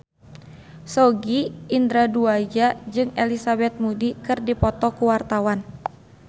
Sogi Indra Duaja jeung Elizabeth Moody keur dipoto ku wartawan